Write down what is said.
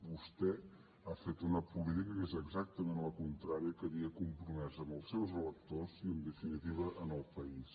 vostè ha fet una política que és exactament la contrària que havia compromès amb els seus electors i en definitiva amb el país